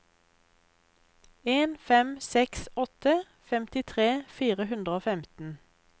en fem seks åtte femtitre fire hundre og femten